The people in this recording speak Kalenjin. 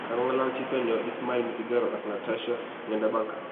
Kagongalal chito nyo ismail misigaro ak natasha ngendabanka.